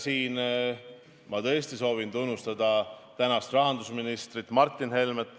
Siin ma tõesti soovin tunnustada praegust rahandusministrit, Martin Helmet.